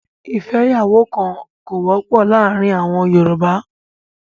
ìfẹ́yàwókan kò wọ́pọ̀ láàárín àwọn Yorùbá.